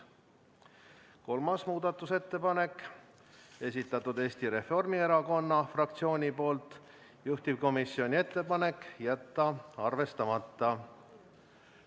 Kolmas muudatusettepanek, esitanud Eesti Reformierakonna fraktsioon, juhtivkomisjoni ettepanek on jätta arvestamata.